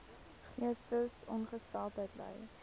geestesongesteldheid ly